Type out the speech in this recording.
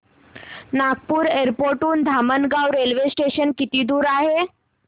Nagpur airport हून Dhamangaon railway station किती दूर आहे